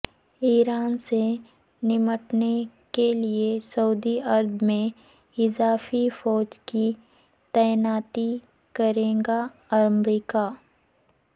ایران سے نمٹنے کے لئے سعودی عرب میں اضافی فوج کی تعیناتی کرے گا امریکہ